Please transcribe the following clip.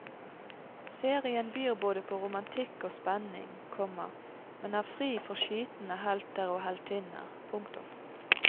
Serien byr både på romantikk og spenning, komma men er fri for skytende helter og heltinner. punktum